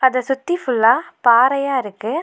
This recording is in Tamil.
இத சுத்தி ஃபுல்லா பாறையா இருக்கு.